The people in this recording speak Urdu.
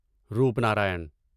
روپنارائن